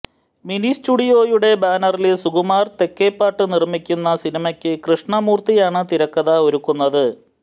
mini സ്റ്റുഡിയോയുടെ ബാനറില് സുകുമാര് തെക്കേപ്പാട്ട് നിര്മ്മിക്കുന്ന സിനിമയ്ക്ക് കൃഷ്ണ മൂര്ത്തിയാണ് തിരക്കഥ ഒരുക്കുന്നത്